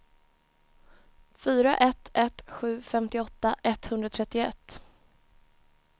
fyra ett ett sju femtioåtta etthundratrettioett